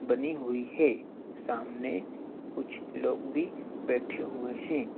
बनी हुई है सामने कुछ लोग भी बैठे हुए हैं।